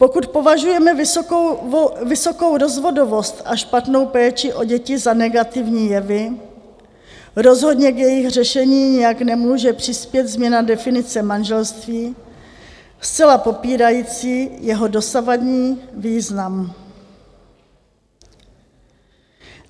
Pokud považujeme vysokou rozvodovost a špatnou péči o děti za negativní jevy, rozhodně k jejich řešení nijak nemůže přispět změna definice manželství zcela popírající jeho dosavadní význam.